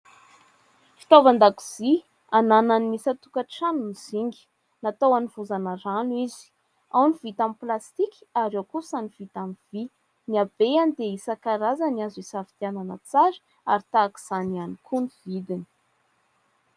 Fitaovan-dakozia ananan'ny isan-tokantrano ny zinga, natao hanovozana rano izy, ao ny vita amin'ny plastika ary eo kosa ny vita amin'ny vy . Ny abeany dia isankarazany, azo isafidianana tsara ary tahaka izany ihany koa ny vidiny.